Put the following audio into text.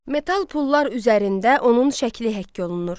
Metal pullar üzərində onun şəkli həkk olunur.